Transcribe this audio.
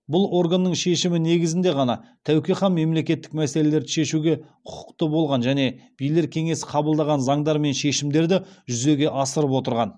бұл органның шешімі негізінде ғана тәуке хан мемлекеттік мәселелерді шешуге құқықты болған және билер кеңесі қабылдаған заңдар мен шешімдерді жүзеге асырып отырған